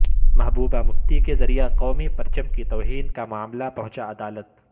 محبوبہ مفتی کے ذریعہ قومی پرچم کی توہین کا معاملہ پہنچا عدالت